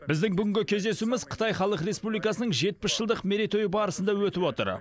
біздің бүгінгі кездесуіміз қытай халық республикасының жетпіс жылдық мерейтойы барысында өтіп отыр